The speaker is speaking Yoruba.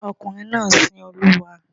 Ọmọkùnrin náà sin Olúwa.